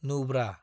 Nubra